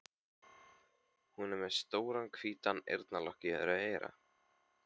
Hún er með stóran hvítan eyrnalokk í öðru eyra.